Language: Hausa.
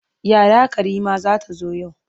Yaya Karima za ta zo yau.